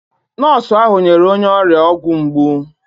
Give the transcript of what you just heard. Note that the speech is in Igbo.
Nọọsụ ahụ nyere onye ọrịa ọgwụ mgbu.